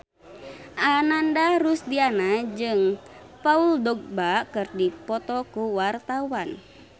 Ananda Rusdiana jeung Paul Dogba keur dipoto ku wartawan